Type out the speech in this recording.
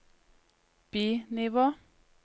bi-nivå